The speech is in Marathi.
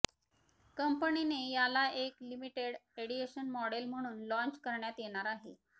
कंपनीने याला एक लिमिटेड एडिशन मॉडल म्हणून लाँच करण्यात येणार आहे